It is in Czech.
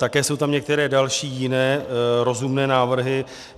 Také jsou tam některé další, jiné rozumné návrhy.